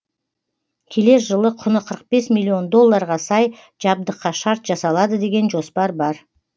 келер жылы құны қырық бес миллион долларға сай жабдыққа шарт жасалады деген жоспар бар